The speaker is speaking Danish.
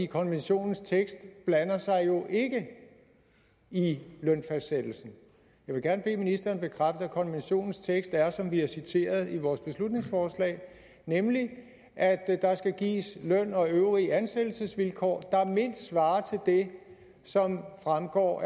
konventionens tekst blander sig jo ikke i lønfastsættelsen jeg vil gerne bede ministeren bekræfte at konventionens tekst er som vi har citeret i vores beslutningsforslag nemlig at at der skal gives løn og øvrige ansættelsesvilkår der mindst svarer til det som fremgår